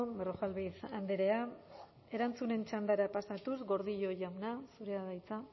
berrojalbiz andrea erantzunen txandara pasatuz gordillo jauna zurea da hitza